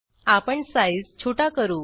आपण साईज छोटा करू